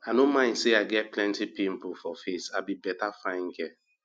i no mind say i get plenty pimple for face i be beta fine girl